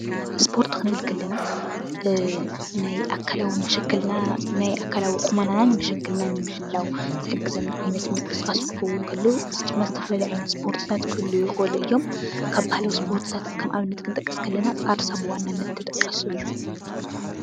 እስፖርት ክንብል ከለና ናይ ኣካላዊ መሸከልናነን ቁመናን ምሕላዊ ዘሕግዘና ዓይነት ምንቅስቃስ ክኸን ከሎ እዚ ድማ ዝተፋላለየ ዓይነት ምንቅስቃስ ይክእሉ እዮሞ፡፡ ካብ ባህላዊ እስፖርትታት ኣብነት ክንጠቅስ ከለና ቃርሳ ብወናኒነት ክጥቅስ ከሎ አዩ፡፡